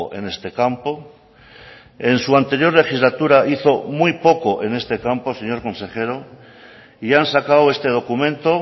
en este campo en su anterior legislatura hizo muy poco en este campo señor consejero y han sacado este documento